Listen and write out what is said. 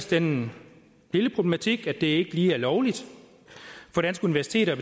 den lille problematik at det ikke lige er lovligt for danske universiteter at